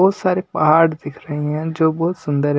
बहुत सारे पहाड़ दिख रहें हैं जो बहुत सुंदर है।